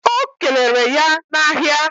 O keleere ya na ahia